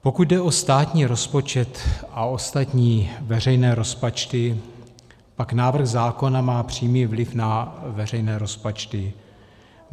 Pokud jde o státní rozpočet a ostatní veřejné rozpočty, pak návrh zákona má přímý vliv na veřejné rozpočty.